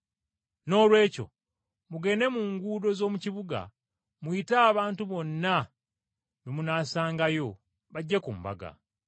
Noolwekyo mugende mu nguudo z’omu kibuga muyite abantu bonna be munaasangayo bajje ku mbaga.’